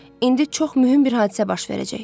İndi çox mühüm bir hadisə baş verəcək.